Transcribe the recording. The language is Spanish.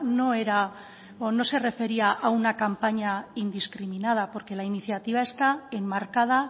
no era o no se refería a una campaña indiscriminada porque la iniciativa está enmarcada